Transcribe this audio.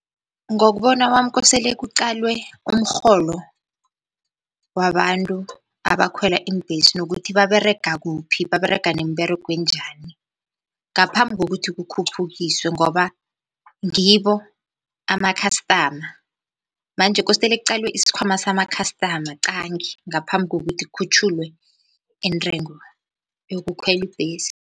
Ngokubona kwami kosele kuqalwe umrholo wabantu abakhwela iimbhesi nokuthi baberega kuphi, baberega nemberego enjani ngaphambi kokuthi kukhuphukiswe, ngoba ngibo ama-customer manje kostele kuqalwe isikhwama sama-customer qangi ngaphambi kokuthi kukhutjhulwe intengo yokukhwela ibhesi.